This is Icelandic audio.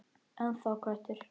Ennþá köttur.